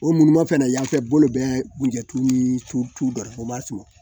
O munumunu fɛnɛ yanfɛ bolo bɛ kunjɛ tulu ni tubatu datuguba surun